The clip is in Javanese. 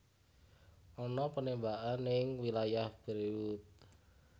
Ana penembakan ning wilayah Beirut